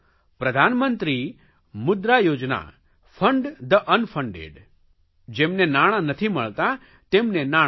પ્રધાનમંત્રી Mudra Yojana fund the unfunded જેમને નાણાં નથી મળતાં તેમને નાણાં મળે